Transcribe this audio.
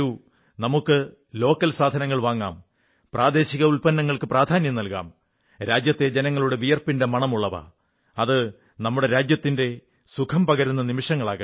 നമുക്ക് തദ്ദേശീയ സാധനങ്ങൾ വാങ്ങാം പ്രാദേശിക ഉത്പന്നങ്ങൾക്കു പ്രധാന്യം നല്കാം രാജ്യത്തെ ജനങ്ങളുടെ വിയർപ്പിന്റെ മണമുള്ളവ അതു നമ്മുടെ രാജ്യത്തിന്റെ സുഖം പകരുന്ന നിമിഷമാകട്ടെ